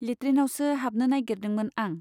लेट्रिनावसो हाबनो नाइगिरदोंमोन आं।